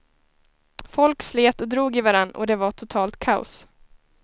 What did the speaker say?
Folk slet och drog i varann och det var totalt kaos.